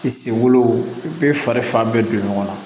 I senkolo i bɛ fari fan bɛɛ don ɲɔgɔn na